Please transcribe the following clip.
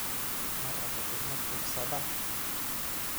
Ma rabo ilmo tuugsada.